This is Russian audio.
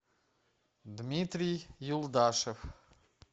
дмитрий юлдашев